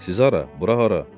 Siz hara, bura hara?